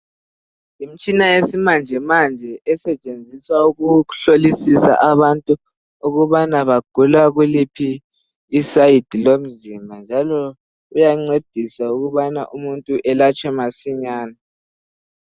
Yimitshina yesimanje manje esetshenziswa ukuhlolisisa abantu ukubana bagula kuliphi i"side"lomzimba njalo uyancedisa ukubana umuntu alatshwe masinyane.